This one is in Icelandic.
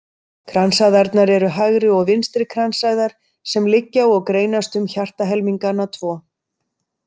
Kransæðarnar eru hægri og vinstri kransæðar sem liggja og greinast um hjartahelmingana tvo.